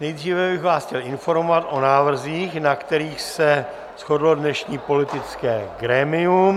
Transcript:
Nejdříve bych vás chtěl informovat o návrzích, na kterých se shodlo dnešní politické grémium.